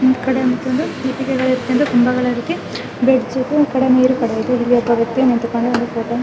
ಈ ಕಡೆ ಒಂದು ಇಟ್ಟಿಗಳನ್ನು ಇಟ್ಕೊಂಡು ಕಂಬಗಳ ರೀತಿ ಬ್ರಿಜ್ ಇದೆ ಈ ಕಡೆ ಒಬ್ಬ ವ್ಯಕ್ತಿ --